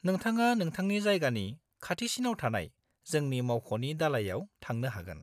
नोंथाङा नोंथांनि जायगानि खाथिसिनाव थानाय जोंनि मावख'नि दालाइआव थांनो हागोन।